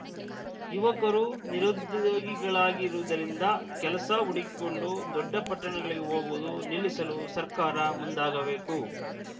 ಯುವಕರು ನಿರುದ್ಯೋಗಿಗಳಾಗಿರುವುದರಿಂದ ಕೆಲಸ ಹುಡುಕಿಕೊಂಡು ದೊಡ್ಡ ಪಟ್ಟಣಗಳಿಗೆ ಹೋಗುವುದು ನಿಲ್ಲಿಸಲು ಸರ್ಕಾರ ಮುಂದಾಗಬೇಕು